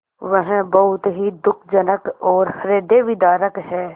वह बहुत ही दुःखजनक और हृदयविदारक है